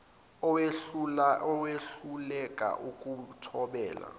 owehluleka ukuyi thobela